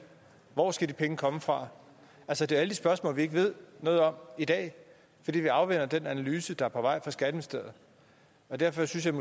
hvor skal de penge komme fra altså det er alle de spørgsmål vi ikke ved noget om i dag fordi vi afventer den analyse der er på vej fra skatteministeriet derfor synes jeg